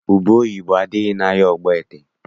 Ubeoyibo adịghị n'ahịa Ogbaete.